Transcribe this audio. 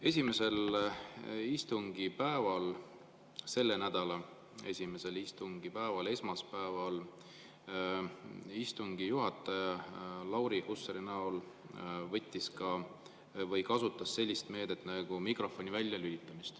Esimesel istungipäeval, selle nädala esimesel istungipäeval, esmaspäeval istungi juhataja Lauri Hussar kasutas sellist meedet nagu mikrofoni väljalülitamine.